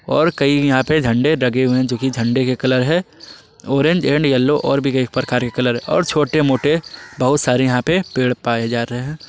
और कहीं यहां पे झंडे लगे हुए हैं जो की झंडे के कलर है ऑरेंज एंड येलो और भी एक प्रकार के कलर और छोटे मोटे बहुत सारे यहां पर पेड़ पाए जाते हैं।